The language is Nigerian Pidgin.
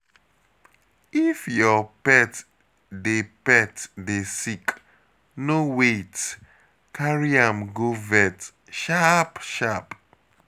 If your pet dey pet dey sick, no wait, carry am go vet sharp-sharp.